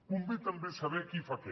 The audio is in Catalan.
convé també saber qui fa què